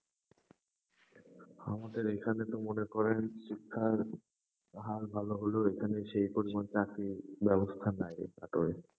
আমাদের এখানে তো মনে করেন, শিক্ষার হাল ভালো হলেও, এখানে সেই পরিমাণ চাকরির ব্যবস্থা নাই একেবারে।